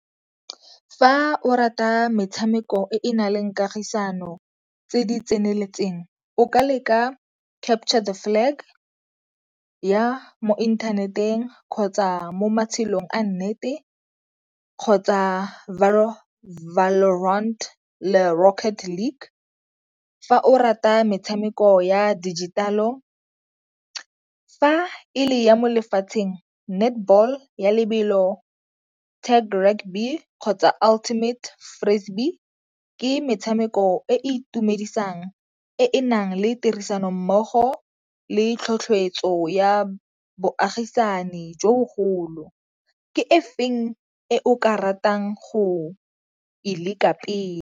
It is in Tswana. Fa o rata metshameko e e na leng kagisano tse di tseneletseng. O ka leka Capture The Flag ya mo inthaneteng kgotsa mo matshelong a nnete kgotsa fa o rata metshameko ya dijithale. Fa e le ya mo lefatsheng netball ya lebelo, tag rugby kgotsa ultimate ke metshameko e e itumedisang e na le tirisanommogo le tlhotlheletso ya bogaisani jo bogolo. Ke e feng e o ka ratang go e leka pele?